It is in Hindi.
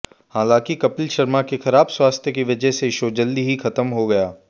हालांकि कपिल शर्मा के खराब स्वास्थ्य की वजह से शो जल्द ही खत्म हो गया